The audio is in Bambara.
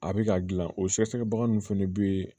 A bɛ ka gilan o sɛgɛsɛgɛbaga ninnu fɛnɛ bɛ